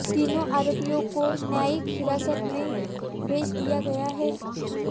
तीनों आरोपियों को न्यायिक हिरासत में भेज दिया गया है